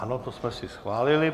Ano, to jsme si schválili.